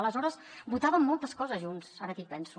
aleshores votàvem moltes coses junts ara que hi penso